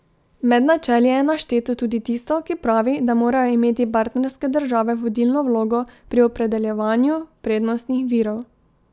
Med načeli je našteto tudi tisto, ki pravi, da morajo imeti partnerske države vodilno vlogo pri opredeljevanju prednostnih virov.